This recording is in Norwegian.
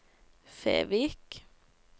Fevik